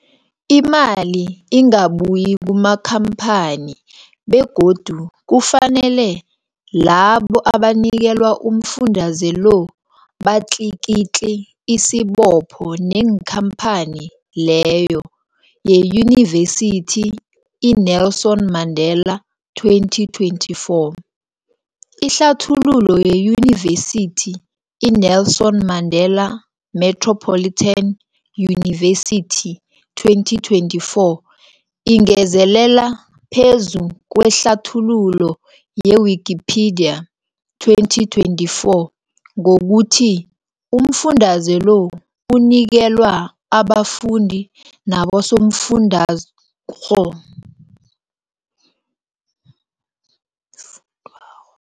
Imali ingabuyi kumakhamphani begodu kufanele labo abanikelwa umfundaze lo batlikitliki isibopho neenkhamphani leyo, yeYunivesity i-Nelson Mandela 2024. Ihlathululo yeYunivesithi i-Nelson Mandela Metropolitan University, 2024, ingezelele phezu kwehlathululo ye-Wikipedia, 2024, ngokuthi umfundaze lo unikelwa abafundi nabosofundwakgho fundwakgho.